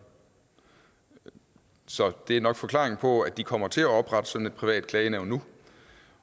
så det er nok forklaringen på at de kommer til at oprette sådan et privat klagenævn nu